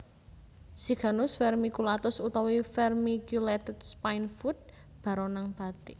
Siganus Vermiculatus utawi vermiculated Spinefoot baronang batik